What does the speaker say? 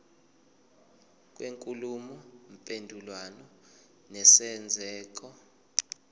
kwenkulumo mpendulwano nesenzeko